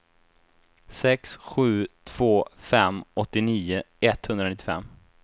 sex sju två fem åttionio etthundranittiofem